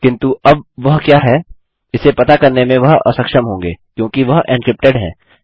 किन्तु अब वह क्या है इसे पता करने में वह असक्षम होंगे क्योंकि वह एन्क्रिप्टेड है